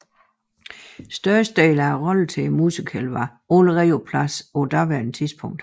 Størstedelen af roller til musicalen var allerede på plads på daværende tidspunkt